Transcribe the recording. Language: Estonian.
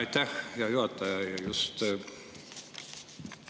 Aitäh, hea juhataja!